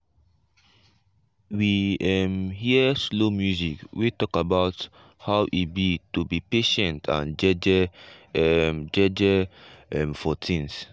we um hear slow music wey talk about how e be to be patient and jeje um jeje um for things. um